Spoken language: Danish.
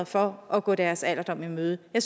for at gå deres alderdom i møde jeg